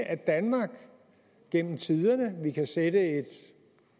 at danmark gennem tiderne vi kan sætte et